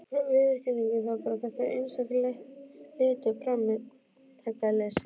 Viðurkennum það bara, þetta er einskær leti og framtaksleysi.